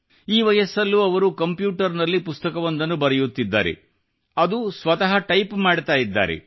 ಈ ವಯಸ್ಸಲ್ಲೂ ಅವರು ಕಂಪ್ಯೂಟರ್ ನಲ್ಲಿ ಪುಸ್ತಕವೊಂದನ್ನು ಬರೆಯುತ್ತಿದ್ದಾರೆ ಅದು ಸ್ವತಃ ಟೈಪ್ ಮಾಡ್ತಾ ಇದ್ದಾರೆ